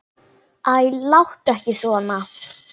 Æ, láttu ekki svona.